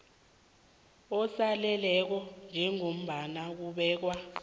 osaleleko njengombana kubekwe